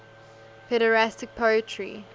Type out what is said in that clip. pederastic poetry